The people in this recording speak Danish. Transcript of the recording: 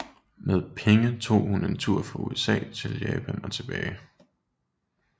Med pengene tog hun en tur fra USA til Japan og tilbage